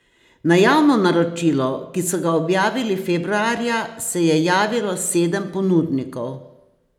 Na javno naročilo, ki so ga objavili februarja, se je javilo sedem ponudnikov.